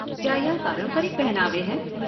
क्या यह पारंपरिक पहनावे हैं?